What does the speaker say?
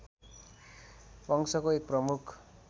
वंशको एक प्रमुख